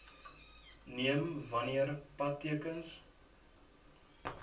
neem wanneer padtekens